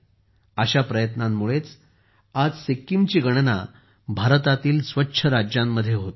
अशा प्रयत्नांमुळेच आज सिक्कीमची गणना भारतातील स्वच्छ राज्यांमध्ये होते